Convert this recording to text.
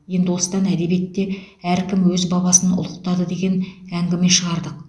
енді осыдан әдебиетте әркім өз бабасын ұлықтады деген әңгіме шығардық